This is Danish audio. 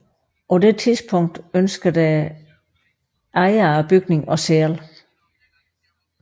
På det tidspunkt ønskede bygningens ejer at sælge